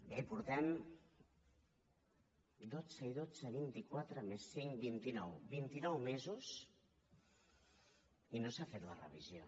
bé portem dotze i dotze vintiquatre més cinc vitinou vintinou mesos i no s’ha fet la revisió